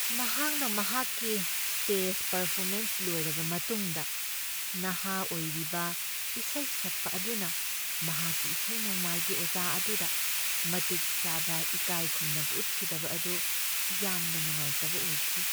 ꯃꯍꯥꯛꯅ ꯃꯍꯥꯛꯀꯤ stage performance ꯂꯣꯏꯔꯕ ꯃꯇꯨꯡꯗ ꯅꯍꯥ ꯑꯣꯏꯔꯤꯕ ꯏꯁꯩ ꯁꯛꯄ ꯑꯗꯨꯅ ꯃꯍꯥꯛꯀꯤ ꯏꯁꯩ ꯅꯣꯡꯃꯥꯏꯒꯤ ꯑꯣꯖꯥ ꯑꯗꯨꯗ ꯃꯇꯤꯛ ꯆꯥꯕ ꯏꯀꯥꯏꯈꯨꯝꯅꯕ ꯎꯠꯈꯤꯗꯕ ꯑꯗꯨ ꯌꯥꯝꯅ ꯅꯨꯡꯉꯥꯏꯇꯕ ꯑꯣꯏꯈꯤ꯫